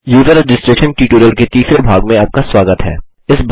user registration tutorial के तीसरे भाग में आपका स्वागत है